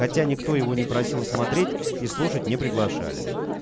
хотя никто его не просил смотреть и слушать не приглашали